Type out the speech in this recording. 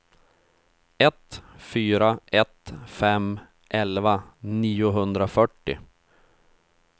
ett fyra ett fem elva niohundrafyrtio